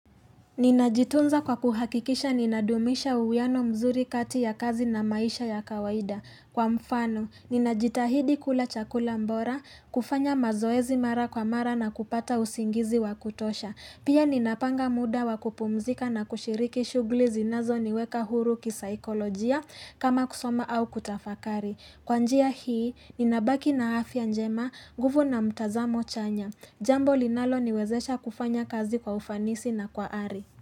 Ninajitunza kwa kuhakikisha ninadumisha uwiano mzuri kati ya kazi na maisha ya kawaida. Kwa mfano, ninajitahidi kula chakula bora. Kufanya mazoezi mara kwa mara na kupata usingizi wa kutosha. Pia ninapanga muda wa kupumzika na kushiriki shughuli zinazo niweka huru kisaikolojia. Kama kusoma au kutafakari. Kwa njia hii, ninabaki na afya njema nguvu na mtazamo chanya. Jambo linalo niwezesha kufanya kazi kwa ufanisi na kwa ari.